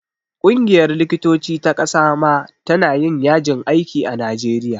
Ƙungiyar likitoci ta ƙasa ma ta na yin yajin aiki a najeriya